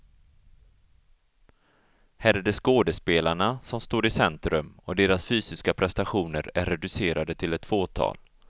Här är det skådespelarna som står i centrum och deras fysiska prestationer är reducerade till ett fåtal.